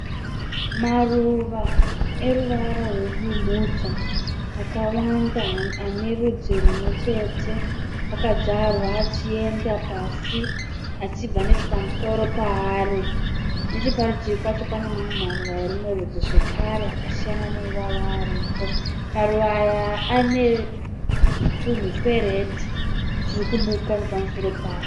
Maruva eruvara rwebumhudza. Akawanda, anerwudzi rwumwechete. Akanzvarwa achienda pasi. Achibva nechepamusoro paari. Necheparutivi pacho pane mamwe maruva erumwe rudzi zvekare akasiyana neiwaya aripo. Maruva aya ane tunhu tweredhi turikubuka nepamusoro.